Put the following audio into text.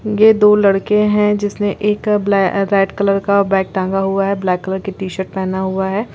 ये दो लड़के है जिसने एक ब्लै रेड कलर का बैग टांगा हुआ है ब्लैक कलर का टी-शर्ट पेहना हुआ है।